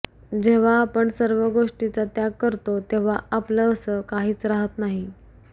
जेव्हा आपण सर्व गोष्टीचा त्याग करतो तेव्हा आपलं असं काहीच राहत नाही